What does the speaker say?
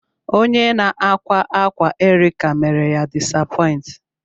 Onye na-akwa akwa Erica mere ya disapoint.